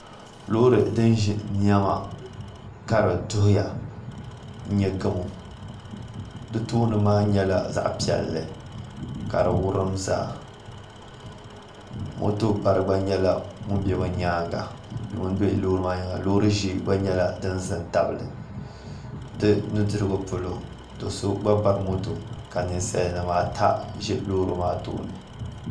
Loori din ʒi niɛma ka di duhuya n nyɛ gamo di tooni maa nyɛla zaɣ piɛlli ka di wurim zaa moto bari gba nyɛla ŋun bɛ bi nyaanga loori ʒiɛ gba nyɛla din ʒɛ n tabili di nudirigu polo do so gba bari moto ka ninsal nim ata ʒi loori maa tooni